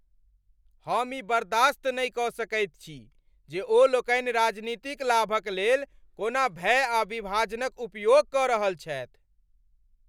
हम ई बर्दाश्त नहि कऽ सकैत छी जे ओ लोकनि राजनीतिक लाभक लेल कोना भय आ विभाजनक उपयोग कऽ रहल छथि।